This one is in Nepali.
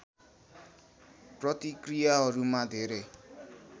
प्रतिक्रियाहरूमा धेरै